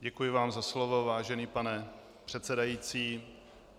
Děkuji vám za slovo, vážený pane předsedající.